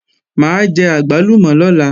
Mà á jẹ àgbálùmọ̀ lọ́la